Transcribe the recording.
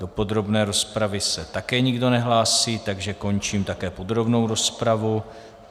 Do podrobné rozpravy se také nikdo nehlásí, takže končím také podrobnou rozpravu.